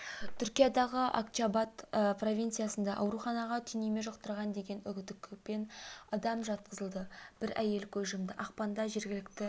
түркиядағы акчаабат провинциясында ауруханаға түйнеме жұқтырған деген күдікпен адам жатқызылды бір әйел көз жұмды ақпанда жергілікті